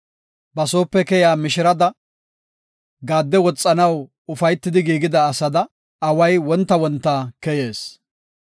Ba soope keyiya mishirada, gaadde woxanaw ufaytidi giigida asada, away wonta wonta keyees.